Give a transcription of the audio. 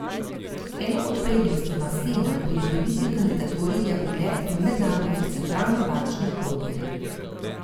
Ena od prednosti Mastena pri morebitni kandidaturi je ugled v mednarodnih centralnobančnih krogih.